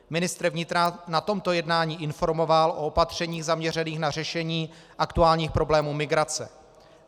Ministr vnitra na tomto jednání informoval o opatřeních zaměřených na řešení aktuálních problémů migrace.